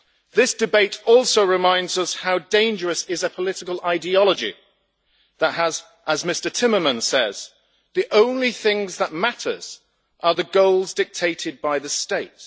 This debate also reminds us how dangerous a political ideology is when, as Mr Timmermans says, the only things that matter are the goals dictated by the state.